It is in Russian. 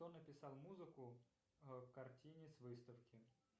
кто написал музыку к картине с выставки